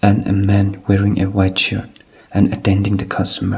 and a man wearing a white shirt and attending the customer.